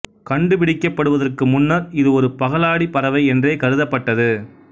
கண்டுபிடிக்கப்படுவதற்கு முன்னர் இது ஒரு பகலாடிப் பறவை என்றே கருதப்பட்டது